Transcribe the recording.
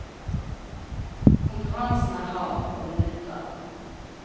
Konkurransen er hard, og det nytter.